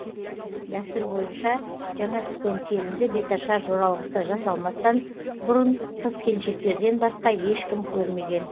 дәстүр бойынша жаңа түскен келінді беташар жоралғысы жасалмастан бұрын қыз келіншектерден басқа ешкім көрмеген